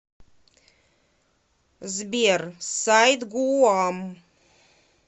сбер сайт гууам